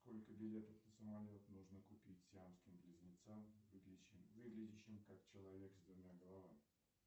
сколько билетов на самолет нужно купить сиамским близнецам выглядящим как человек с двумя головами